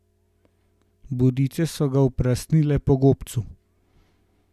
Bodice so ga oprasnile po gobcu.